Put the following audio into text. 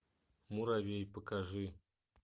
муравей покажи